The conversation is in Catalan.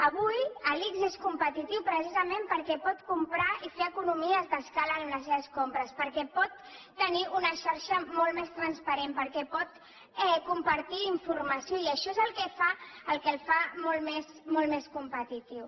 avui l’ics és competitiu precisament perquè pot comprar i fer economies d’escala amb les seves compres perquè pot tenir una xarxa molt més transparent perquè pot compartir informació i això és el que el fa molt més competitiu